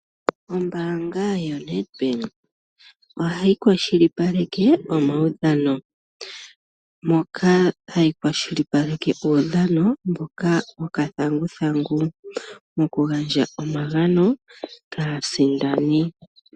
Ombaanga yoNedbank ohayi kwashilipaleke omaudhano, moka hayi kwashilipaleke uudhano wokathanguthangu. Aasindani ohaya pewa omagano.